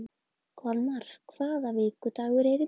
Kolmar, hvaða vikudagur er í dag?